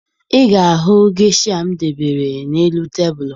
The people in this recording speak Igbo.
Ị ga-ahụ gesha m debere n'elu tebulu